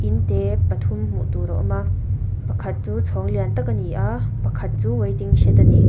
in te pathum hmuh tur a awm a pakhat chu chhawng lian tak a ni a pakhat chu waiting shed a ni.